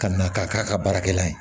Ka na k'a k'a ka baarakɛla ye